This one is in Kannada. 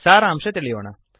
ಸಾರಾಂಶ ತಿಳಿಯೋಣ